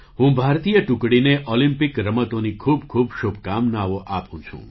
હું ભારતીય ટુકડીને ઑલિમ્પિક રમતોની ખૂબ ખૂબ શુભકામનાઓ આપું છું